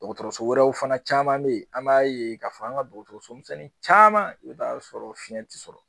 Dɔgɔtɔrɔso wɛrɛw fana caman bɛ ye an b'a ye ka fɔ an ka dɔgɔtɔrɔso misɛnnin caman i bɛ taa sɔrɔ fiyɛn tɛ sɔrɔ.